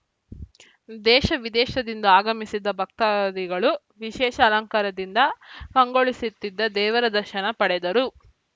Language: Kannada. ದೇಶ ವಿದೇಶದಿಂದ ಆಗಮಿಸಿದ್ದ ಭಕ್ತಾದಿಗಳು ವಿಶೇಷ ಅಲಂಕಾರದಿಂದ ಕಂಗೊಳಿಸುತ್ತಿದ್ದ ದೇವರ ದರ್ಶನ ಪಡೆದರು